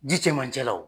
Ji cɛmancɛ la o